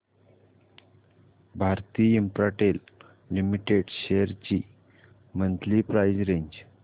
Bharti Infratel Limited shares ची monthly price range